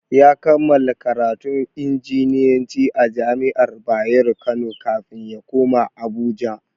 Ya kammala karatun injiniyanci a jami'ar Bayero kano kafin ya koma Abuja.